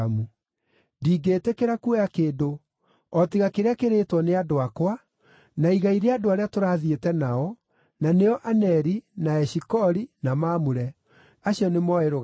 Ndingĩĩtĩkĩra kuoya kĩndũ, o tiga kĩrĩa kĩrĩĩtwo nĩ andũ akwa, na igai rĩa andũ arĩa tũrathiĩte nao, na nĩo Aneri, na Eshikoli, na Mamure. Acio nĩmooe rũgai rwao.”